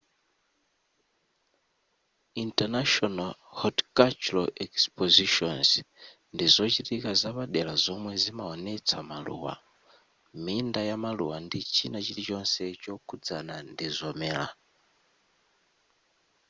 international horticultural expositions ndi zochitika zapadera zomwe zimawonetsa maluwa minda yamaluwa ndi china chilichonse chokhudzana ndi zomera